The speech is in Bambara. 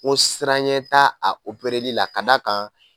Ko siranɲɛ ta a la ka d'a kan